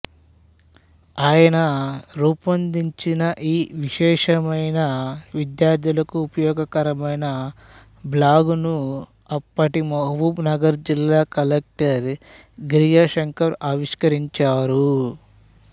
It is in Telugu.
ఆయన రూపొందించిన ఈ విశేషమైనవిద్యార్థులకు ఉపయోగకరమైన బ్లాగును అప్పటి మహబూబ్ నగర్ జిల్లా కలెక్టరు గిరిజాశంకర్ ఆవిష్కరించారు